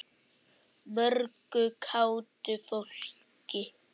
Mörgu kátu fólki.